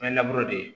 An ye di